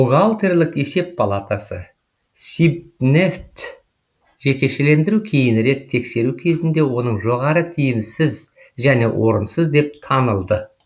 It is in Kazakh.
бухгалтерлік есеп палатасы сибнефть жекешелендіру кейінірек тексеру кезінде оның жоғары тиімсіз және орынсыз деп танылды